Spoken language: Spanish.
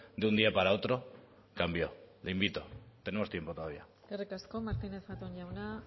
de un día para otro cambió le invito tenemos tiempo todavía eskerrik asko martínez zatón jauna